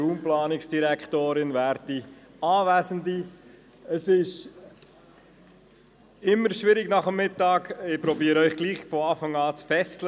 der BaK. Es ist immer ein bisschen schwierig nach dem Mittagessen, aber ich werde versuchen, Sie zu fesseln.